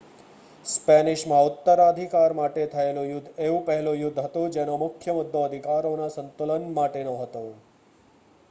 સ્પેનિશમાં ઉત્તરાધિકાર માટે થયેલું યુદ્ધ એવું પહેલું યુદ્ધ હતું જેનો મુખ્ય મુદ્દો અધિકારોના સંતુલન માટેનો હતો